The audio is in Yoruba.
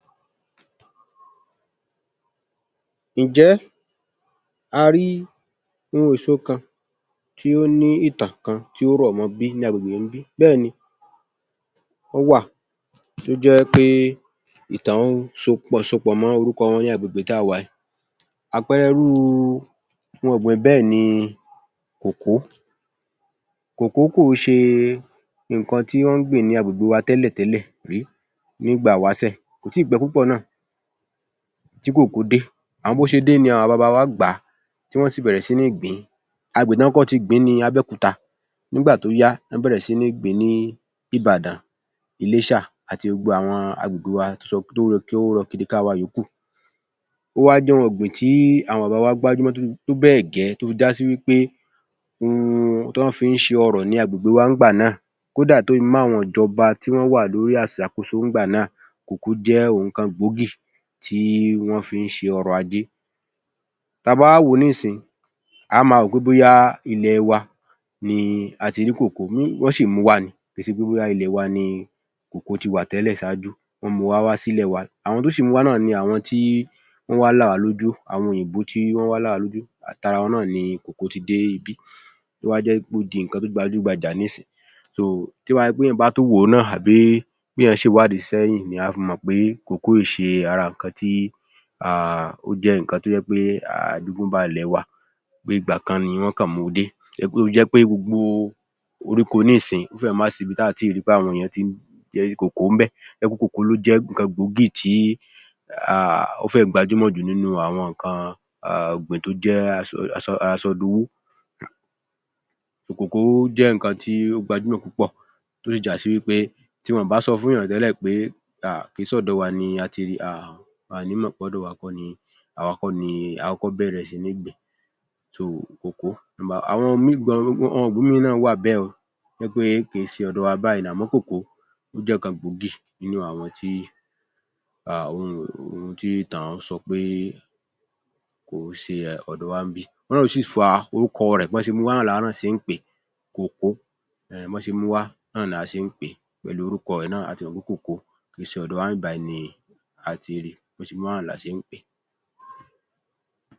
Ǹjẹ́ a rí ohun èso kan tí ó ní ìtàn kan tí ó rọ̀ mọ ní agbègbè ń bí? Bẹ́ẹ̀ ni. Ó wà, tí ó jẹ́ wí pé ìtàn wọn so pọ̀ mọ nih agbègbè tí a wà yìí. Àpẹẹre irú ohun ọ̀gbìn bẹ́ẹ̀ ni kòkó. Kòkoh kò ń ṣe nǹkan tí wọ́ń gbìn ní agbègbè wa tẹ́lẹ̀tẹ̀lẹ̀ rí nígbà ìwásẹ̀. Kò tíì pẹ́ púpọ̀ náà tí kòkó dé. Bó ṣe dé ní àwọn baba wa gbà á, tí wọ́n sì bẹ̀rẹ̀ síí gbì-ín. Agbègbè tí wọ́n kọ́kọ́ ti gbì-ín ni Abẹ́òkúta. Nígbà tó yá, wọ́n bẹ̀rẹ̀ síí gbì-ín ní Ìbàdàn, Iléṣà àti gbogbo àwọn agbègbè wa tó rọkiriká wa yòókù. Ó wá jẹ́ ohun ọ̀gbìn tí àwọñ bàbah wa gbárímọ́ tó bẹ́ẹ̀ bẹ́ gẹ̀ẹ́ tó fi já sí wí pé òhun ni wọ́n fi ń ṣe ọrọ̀ ní agbègbè wa nígbà náà. Kódà tó fi mọ́ àwọn ìjọba tó wà lórí ìsàkóso ìgbà náà. Kòkó jẹ́ ohun kan gbòógì tí wọ́n fi ń ṣe ọ̀rọ ajé, tí a b́a wá wò ó nísìnyìí, a ó máa rò ó bóyá ilẹ̀ wa ́ni a ti ri kòkó. Wọ́n sì ń mú u wá ni. Kìí ṣe pé bóyá ilẹ̀ wa ni kòkó ti wà tẹ́lẹ̀ ṣáájú. Àwọn tó sì mu wá ni àwọn òyìnbó tó wah là wah lójú, àtara wọn ni kòkó ti dé ibí. Ó wá jẹh kó di nǹkan tó gbajúgbajà nísìnyìí. Nítorí náà, tó bá jẹ́ pé èèyàn tún wò ó náà tàbí tí èèyàn bá ṣe ìwádìí sẹ́yìn ni á fi mọ̀ pé kòkó ò ń ṣe ara nǹkan tí ó jẹ́ nǹkan tó jẹ́ pé ó jẹ́ àjogúnbá ilẹ̀ wa. Ìgbà kan ni wọ́n kàn mú u dé, tí ó fi jẹ́ pé gbogbo orígùn nísìyìí ó fẹ́rẹ̀ẹ́ má sì í ibi tí a ò ní tíì rí i pé àwọn èèyàn ń ṣe kòkó ń bẹ̀. Kòkó ló jé nǹkan gbòógì tí ó fẹh gbajúmọ̀ jù nínú àwọn nǹkan ọ̀gbìn tó jẹ́ asọdowó. Kòkó jẹ́ nǹkan toh gbajúmọ̀ púpọ̀ tó jé bí wọn ò bá sọ fún-únyàn tẹ́lẹ̀ pé kìí sọ̀dọ̀ wa ni a tí rí i, wọn ò ní mọ̀ pé ọdọ̀ wa kọ́ ni a kọ́kọ́ bẹ̀rẹ̀ sí níí gbì-ín. Àwọn ìbòmíì náà wà bẹ́ẹ̀ o tó jẹ́ pé kìí ṣe ọ̀dọ wa báyìí nìkan. Àmọ́ kòkoh jẹ́ ọ̀kan gbòógì nínú àwọn tí ìtàn sọ pé kò ń ṣe ọ̀dọ wa ń bí ni a ti rí i. Òhun náà ló sì fa orúkọ rẹ̀ bọ́ ṣe mú u wá náà ni àwa náà ṣe ń pè é, kòkó. Ehn bọ́ ṣe mú u wá la ṣe ń pè é pẹ̀lú orúkọ rẹ̀ náà. A ti mọ̀ pé kòkó kìí ṣe ọ̀dọ wa ń bí ni a ti rí i. Bọ́ ṣe mú u wá la ṣe ń pè é.